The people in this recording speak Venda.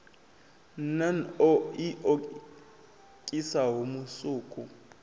nan o i nokisaho musuku